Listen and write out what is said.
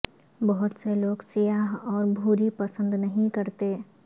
بہت سے لوگ سیاہ اور بھوری پسند نہیں کرتے